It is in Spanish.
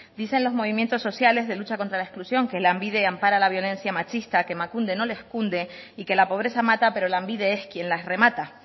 dicen los movimientos sociales de lucha contra la exclusión que lanbide ampara la violencia machista que emakunde no les cunde y que la pobreza mata pero lanbide es quien las remata